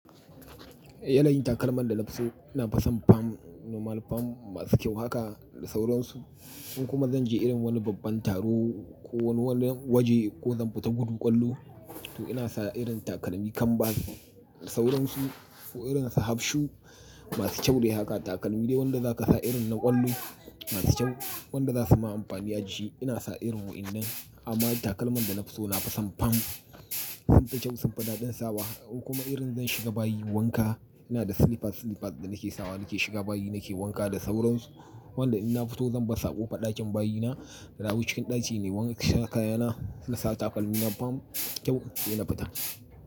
Yanayin takalman da nafi so ina fason fam normal fam masu kyau haka da sauransu. In kuma zan je irin wani babban taro ko wani wajen ko zan fita gudu ƙwallo to ina sa irin takalmi kanbas da sauransu ko irin sahabshu masu kyau dai haka takalmi dai wanda zaka sa irin na ƙwallo masu kyau wanda zasu ma amfani aji. Ina sa irin ru'in nan amma takalman da nafi so nafason fam suna da kyau sunfi daɗin sawa. In kuma irin zan shiga bayi wanka ina da silifas silifas da nake sawa da nake shiga bayi nake wanka da sauransu. Wanda ina fito zan bar saƙo faɗakin bayina da awu cikin ɗaci ne wanka sha kayana ina sa takalmi na fam kyau ina fita.